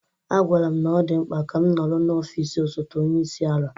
A gwara m na ọ dị mkpa ka m nọrọ n'ọfịs osote onye isi ala.